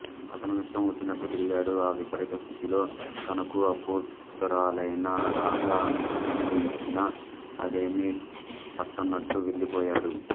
అతను ఇష్టం వచ్చినట్టు తిరిగాడు ఆ విపరీత స్థితిలో తనకు ఆప్తురాలైన రాధ అనునయించినా అదేమీ పట్టనట్టు వెళ్ళిపోయాడు